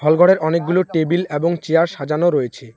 হলঘরে অনেকগুলো টেবিল এবং চেয়ার সাজানো রয়েছে।